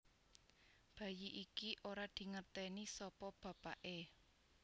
Bayi iki ora dingerteni sapa bapaké